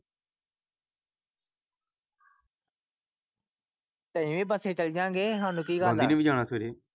ਤੇ ਅਸੀਂ ਵੀ ਬਸੇ ਚਲ ਜਾ ਗੇ ਹਉ ਕਿ ਗੱਲ।